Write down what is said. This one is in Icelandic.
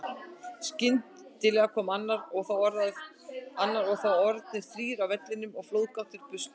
Skyndilega kom annar og þá orðnir þrír á vellinum og flóðgáttir brustu.